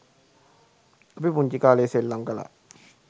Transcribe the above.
අපි පුංචි කාලේ ​සෙල්ලම් කලා.